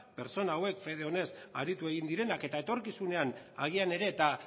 pertsona hauek fede onez aritu egin direnak eta etorkizunean agian ere eta